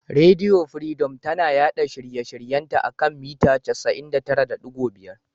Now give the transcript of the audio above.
Rediyo firidom tana yaɗa shirye shiryen ta a kan mita 99.5.